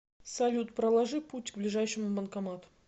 салют проложи путь к ближайшему банкомату